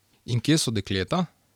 In kje so dekleta?